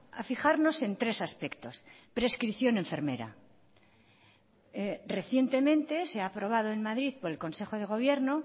a fijarnos en tres aspectos prescripción enfermera recientemente se ha aprobado en madrid por el consejo de gobierno